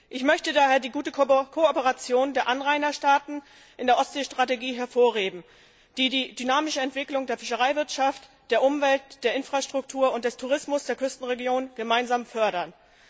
Ich möchte daher die gute Kooperation der Anrainerstaaten in der Ostseestrategie hervorheben, die die dynamische Entwicklung der Fischereiwirtschaft, der Umwelt, der Infrastruktur und des Tourismus der Küstenregionen gemeinsam fördern.